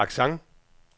accent